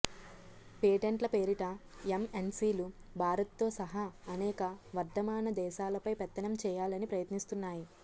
పేటెంట్ల పేరిట ఎంఎన్సిలు భారత్తో సహా అనేక వర్ధమాన దేశాలపై పెత్తనం చేయాలని ప్రయత్నిస్తున్నాయి